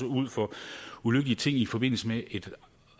ud for ulykkelige ting i forbindelse med et